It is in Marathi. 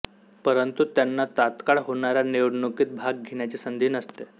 परंतु त्यांना तात्काळ होणाऱ्या निवडणुकीत भाग घेण्याची संधी नसते